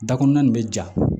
Dakuran nin bɛ ja